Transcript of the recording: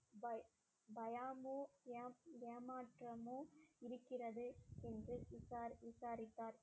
பய~ பயமும் ஏ~ ஏமாற்றமும் இருக்கிறது என்று விசாரி~ விசாரித்தார்